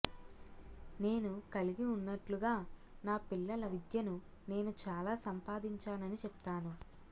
నేను కలిగి ఉన్నట్లుగా నా పిల్లల విద్యను నేను చాలా సంపాదించానని చెప్తాను